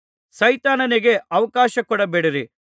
ಸೈತಾನನಿಗೆ ಅವಕಾಶಕೊಡಬೇಡಿರಿ